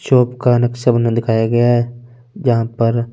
shop का में दिखाया गया है जहा पर --